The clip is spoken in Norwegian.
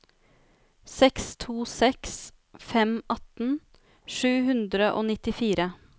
seks to seks fem atten sju hundre og nittifire